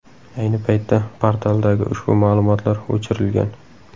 Ayni paytda portaldagi ushbu ma’lumotlar o‘chirilgan .